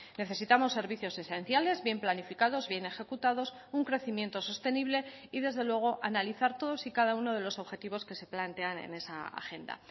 necesitamos servicios esenciales bien planificados bien ejecutados un crecimiento sostenible y desde luego analizar todos y cada uno de los objetivos que se plantean en esa agenda